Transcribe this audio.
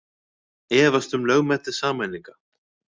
Efast um lögmæti sameininga